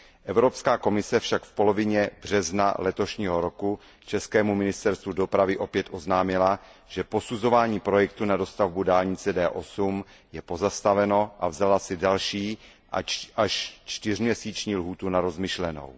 Evropská komise však v polovině března letošního roku českému ministerstvu dopravy opět oznámila, že posuzování projektu na dostavbu dálnice D8 je pozastaveno, a vzala si další, až čtyřměsíční lhůtu na rozmyšlenou.